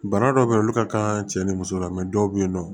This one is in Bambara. Bana dɔw be ye olu ka kan cɛ ni muso la dɔw be yennɔ